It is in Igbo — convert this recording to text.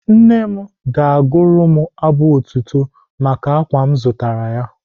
Nne m ga-agụrụ m abụ otito maka ákwà m zụtara ya.